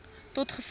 tot gevolg het